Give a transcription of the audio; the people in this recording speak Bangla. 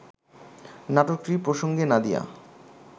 নাটকটি প্রসঙ্গে নাদিয়া